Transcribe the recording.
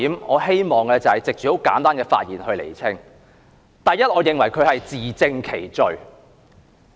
我希望藉着簡單的發言來釐清主要以下3點：第一，我認為她是自證其罪。